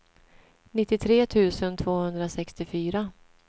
nittiotre tusen tvåhundrasextiofyra